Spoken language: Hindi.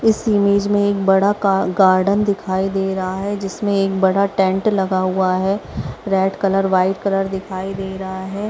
इस इमेज में एक बड़ा गा गार्डन दिखाई दे रहा है जिसमें एक बड़ा टेंट लगा हुआ है रेड कलर व्हाइट कलर दिखाई दे रहा है।